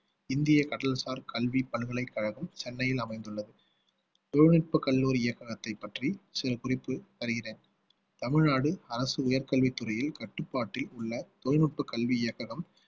இந்திய கடல்சார் கல்விப் பல்கலைக்கழகம் சென்னையில் அமைந்துள்ளது தொழில்நுட்பக் கல்லூரி இயக்கத்தைப் பற்றி சில குறிப்பு தருகிறேன் தமிழ்நாடு அரசு உயர் கல்வித் துறையில் கட்டுப்பாட்டில் உள்ள தொழில்நுட்ப கல்வி இயக்ககம்